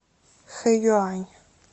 хэюань